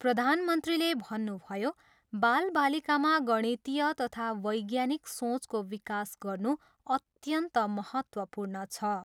प्रधानमन्त्रीले भन्नुभयो, बालबालिकामा गणितीय तथा वैज्ञानिक सोचको विकास गर्नु अत्यन्त महत्त्वपूर्ण छ।